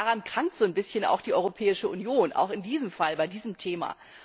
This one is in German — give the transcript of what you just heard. Daran krankt so ein bisschen die Europäische Union auch in diesem Fall, bei diesem Thema.